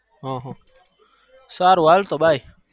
હ હ સારું હાલતો ભાઈ